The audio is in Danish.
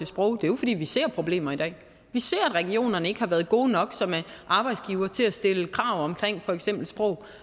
sprog er jo fordi vi ser problemer i dag vi ser at regionerne ikke har været gode nok som arbejdsgivere til at stille krav om for eksempel sprog